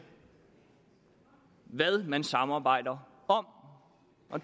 hvad man samarbejder om